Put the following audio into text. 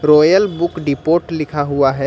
Royal Book Depot लिखा हुआ है।